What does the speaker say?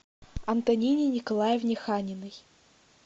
антонине николаевне ханиной